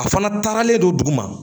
A fana taaralen don duguma